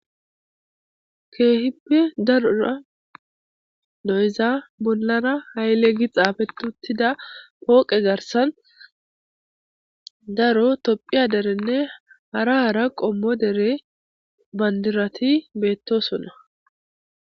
keehippe darora noyza bollara hayle gi xaafetuttida pooqe garsan daro tophiya derenne hara hara qommo dere bandirati beettosona